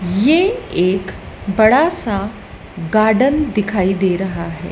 ये एक बड़ा सा गार्डन दिखाई दे रहा है।